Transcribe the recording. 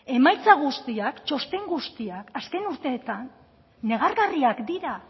emaitza guztiak txosten guztiak azken urteetan negargarriak dira